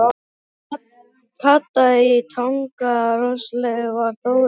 Kata í Tanga Rosalega varð Dóri hissa.